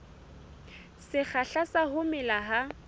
sekgahla sa ho mela ha